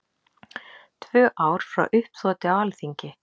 Tvö ár frá uppþoti á Alþingi